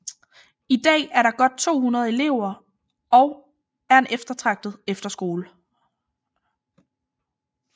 I dag er der godt 200 elever og er en eftertragtet efterskole